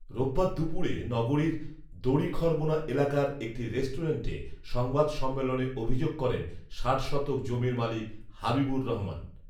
রোববার দুপুরে নগরীর দড়িখরবোনা এলাকার একটি রেস্টেুরেন্টে সংবাদ সম্মেলনে অভিযোগ করেন ষাট শতক জমির মালিক হাবিবুর রহমান